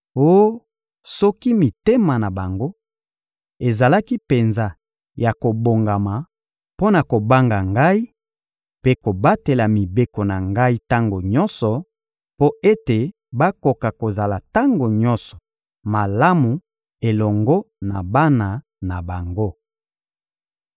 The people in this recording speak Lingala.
Oh, soki mitema na bango ezalaki penza ya kobongama mpo na kobanga Ngai mpe kobatela mibeko na Ngai tango nyonso, mpo ete bakoka kozala tango nyonso malamu elongo na bana na bango!